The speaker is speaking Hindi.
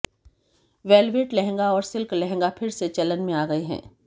वेलवेट लंहगा और सिल्क लहंगा फिर से चलन में आ गए हैं